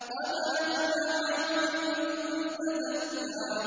قَدْ أَفْلَحَ مَن تَزَكَّىٰ